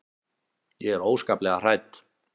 Ég er óskaplega hrædd.